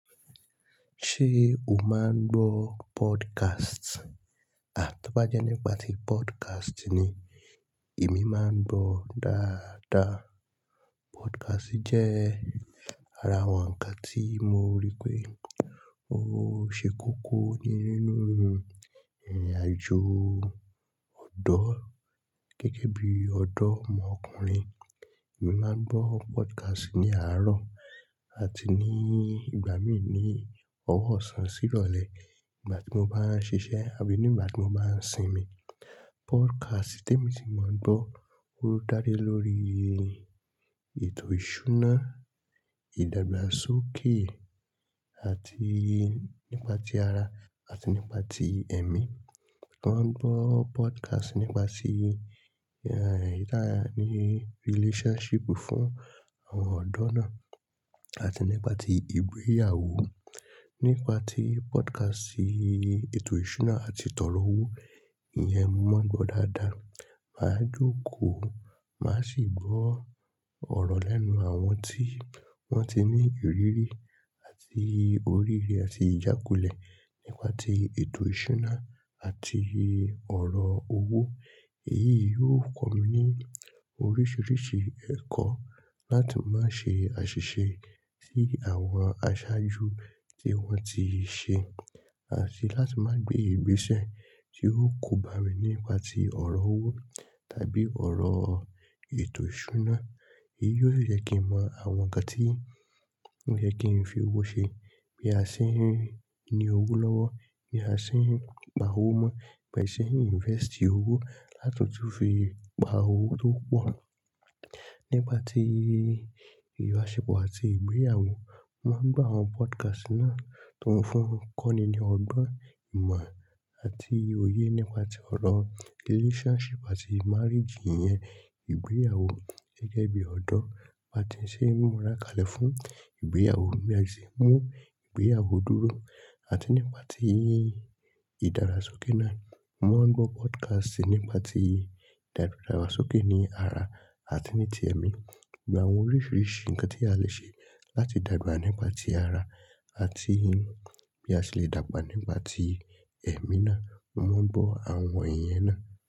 Ṣé o máa ń gbọ́ podcast? Aa to bá jẹ́ nípa tí podcast ni èmi máa ń gbọ́ dáadáa. Podcast jẹ́ ara àwọn nǹkan tí mo rí pé ó ṣe kókó ní nínú ìrìnàjò ọ̀dọ́ gẹ́gẹ́ bí ọ̀dọ́ ọmọkùnrin. Èmi máa ń gbọ́ podcast ní àárọ̀ àti ní ìgbà míì ní ọwọ́ ọ̀sán sí ìrọ̀lẹ́ nígbà tí mo bá ń ṣiṣẹ́ àbí nígbà tí mo bá ń sinmi. Podcast tí èmi ti máa ń gbọ́ o da le lórí ètò ìṣúná, ìdàgbàsókè àti nípa ti ara àti nípa ti ẹ̀mí. Mo máa ń gbọ́ podcast nípa ti, eyi taa ni relationship fún àwọn ọ̀dọ́ náà àti nípa ti ìgbéyàwó. Nípa tí podcast ètò ìṣúná àti tọrọ owó, ìyẹn mo máa ń gbọ́ dáadáa. Màá jókòó, màá sì gbọ́ ọ̀rọ̀ lẹ́nu àwọn tí wọ́n ti ní ìrírí àti oríire àti ìjákulẹ̀ nípa tí ètò ìṣúná àti ọ̀rọ̀ owó. Èyí yi yóò kọ́ mi ní oríṣiríṣi ẹ̀kọ́ láti má ṣe àṣìṣe sí àwọn aṣáájú tí wọ́n ti ṣe àti láti má gbé ìgbésẹ̀ tí yóò kóbá mi nípa tí ọ̀rọ̀ owó tàbí ọ̀rọ̀ ètò ìṣúná. Èyí yóò jẹ́ kí mọ àwọn nǹkan tí wọ́n fẹ́ kí n fi owó ṣe, bí a ṣe ń ní owó lọ́wọ́, bí a ṣe ń pa owó mọ́, bí a ṣe ń invest owó láti tún fi gba owó tó pọ̀. Nípa tí ìbáṣepọ̀ àti ìgbéyàwó, mo máa ń gbọ́ àwọn podcast náà tó ń fún kọ́ ni ní ọgbọ́n, ìmọ̀. Ati òye nípa tí ọ̀rọ̀ relationship àti marriage yẹn, ìgbéyàwó gẹ́gẹ́ bí ọ̀dọ́, bí a ti ṣe ń múra kalẹ̀ fún ìgbéyàwó bí a se mú ìgbéyàwó dúró. Àti nípa tí ìdàgbàsókè náà, mo máa ń gbọ́ podcast nípa tí ìdàgbàsókè ní ara àti ní ti ẹ̀mí. Awọn oríṣiríṣi ǹkan tí a le ṣe láti dàgbà nípa tí ara àti bí a ṣe le dàgbà nípa tí ẹmí náà, mo máa ń gbọ́ àwọn iyen náà.